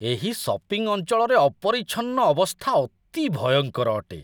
ଏହି ସପିଙ୍ଗ ଅଞ୍ଚଳରେ ଅପରିଚ୍ଛନ୍ନ ଅବସ୍ଥା ଅତି ଭୟଙ୍କର ଅଟେ।